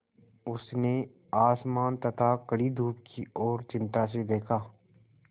उसने आसमान तथा कड़ी धूप की ओर चिंता से देखा